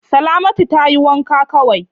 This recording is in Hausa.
Salamatu tayi wanka kawai.